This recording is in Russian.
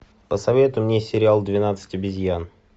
посоветуй мне сериал двенадцать обезьян